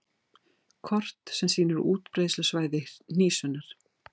Kort sem sýnir útbreiðslusvæði hnísunnar.